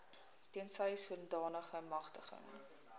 tensy sodanige magtiging